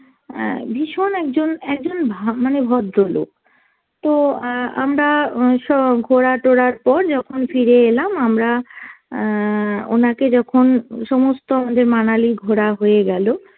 অ্যাঁ ভীষণ একজন একজন ভা~ মানে ভদ্রলোক, তো অ্যাঁ আমরা উম সব ঘোরা টোরার পর যখন ফিরে এলাম আমরা অ্যাঁ ওনাকে যখন সমস্ত আমাদের মানালি ঘোরা হয়ে গেল